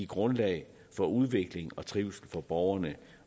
grundlag for udvikling og trivsel for borgerne